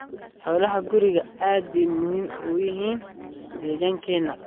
Xoolaha gurigu aad bay muhiim ugu yihiin deegaankeena.